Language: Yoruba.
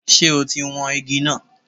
Ṣe ọ̀ ti wọn igi náà?